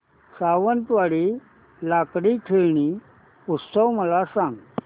सावंतवाडी लाकडी खेळणी उत्सव मला सांग